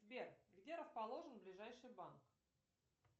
сбер где расположен ближайший банк